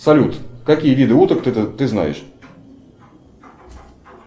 салют какие виды уток ты знаешь